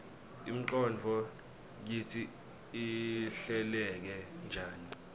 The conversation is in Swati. ingqondvo kitsi ihleleke njani